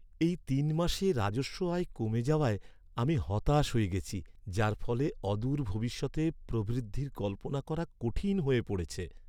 এই তিন মাসে রাজস্ব আয় কমে যাওয়ায় আমি হতাশ হয়ে গেছি, যার ফলে অদূর ভবিষ্যতে প্রবৃদ্ধির কল্পনা করা কঠিন হয়ে পড়েছে।